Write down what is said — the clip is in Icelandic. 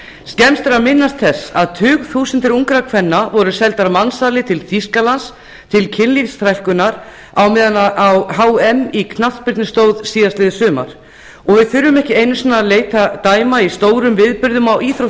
skemmst er að minnast þess að tugþúsundir ungra kvenna voru seldar mansali til þýskalands til kynlífsþrælkunar á meðan á hm í knattspyrnu stóð síðastliðið sumar við þurfum ekki einu sinni að leita dæma í stórum viðburðum á